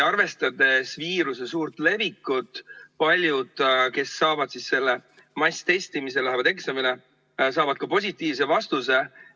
Arvestades viiruse suurt levikut, saavad paljud selle masstestimise käigus kindlasti positiivse vastuse.